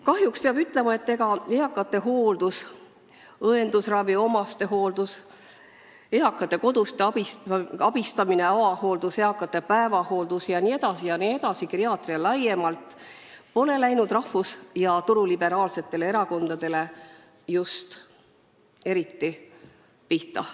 Kahjuks peab ütlema, et eakate hooldus, õendusravi, omastehooldus, eakate kodus abistamine, avahooldus, eakate päevahooldus jne, üldse geriaatria laiemalt, ei ole läinud rahvus- ja turuliberaalsetele erakondadele just eriti korda.